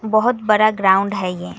बहुत बड़ा ग्राउंड है ये।